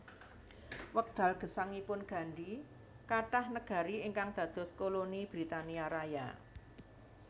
Wekdal gesangipun Gandhi kathah negari ingkang dados koloni Britania Raya